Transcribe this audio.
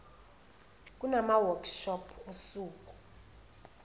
kunama workshop osuku